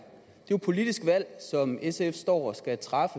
jo et politisk valg som sf står og skal træffe